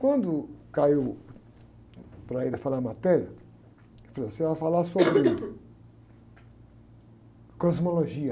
Quando caiu para ele falar a matéria, ele falou, você vai falar sobre cosmologia.